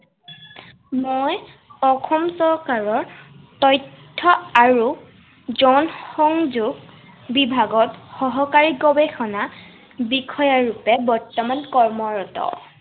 মই অসম চৰকাৰৰ তথ্য় আৰু জনসংযোগ বিভাগত সহকাৰী গৱেষণা বিষয়া ৰূপে বৰ্তমান কৰ্মৰত।